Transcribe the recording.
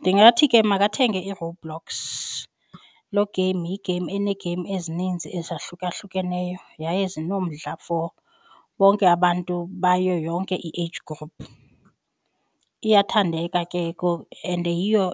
Ndingathi ke makathenge iRoblox, loo game yigeyimu eneegeyimu ezininzi ezahlukahlukeneyo yaye zinomdla for bonke abantu bayo yonke i-age group. Iyathandeka ke and yiyo